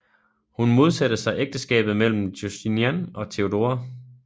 Hun modsatte sig ægteskabet mellem Justinian og Theodora